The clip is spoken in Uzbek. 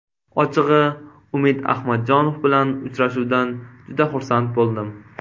Ochig‘i Umid Ahmadjonov bilan uchrashuvdan juda xursand bo‘ldim.